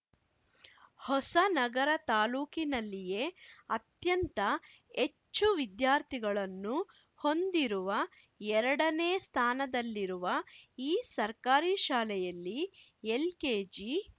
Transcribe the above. ಹೊಸನಗರ ತಾಲೂಕಿನಲ್ಲಿಯೇ ಅತ್ಯಂತ ಹೆಚ್ಚು ವಿದ್ಯಾರ್ಥಿಗಳನ್ನು ಹೊಂದಿರುವ ಎರಡನೇ ಸ್ಥಾನದಲ್ಲಿರುವ ಈ ಸರ್ಕಾರಿ ಶಾಲೆಯಲ್ಲಿ ಎಲ್‌ಕೆಜಿ